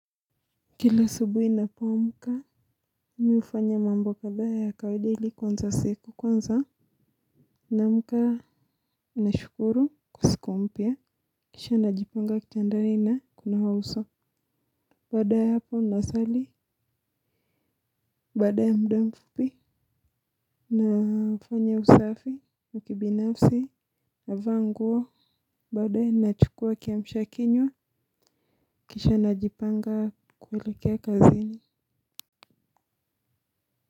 Kila asubuhi ninapoamka mi hufanya mambo kadhaa ya kawaida ili kuanza siku. Kwanza, Naamka. Nashukuru kwa siku mpya. Kisha najipanga kitandani na kunawa uso. Baada ya hapo nasali. Baada ya mda mfupi nafanya usafi wa kibinafsi navaa nguo. Baadaye nachukua kiamshakinywa. Kisha najipanga kuelekea kazini.